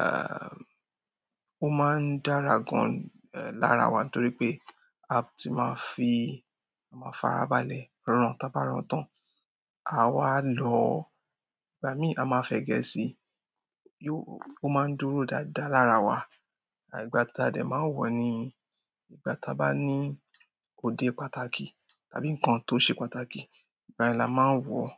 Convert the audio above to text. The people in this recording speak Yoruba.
ehn, ó máa ń dára gan ni lára wa torí pé a ti ma fi ama farabalẹ̀ ran, ta bá ran tán. Àá wá lọ̀ọ́, ìgbà míì a ma fẹ̀gẹ́ si, yóò, ó ma ń dúró dáadáa lára wa. À ìgbà tí a dẹ̀ ma ń wọ̀ọ́ ni ìgbà tí a bá ní òde pàtàkì tàbí nǹkan tó ṣe pàtàkì, ìgbà yẹn la máa ń wọ̀ọ́.